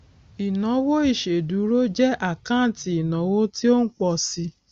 ìnáwó ìṣèdúró jẹ àkáǹtì ìnáwó tí ó ń pọ síi